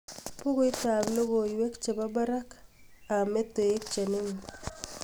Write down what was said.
buguit ab logoiwek chebo barak ab metoek chenin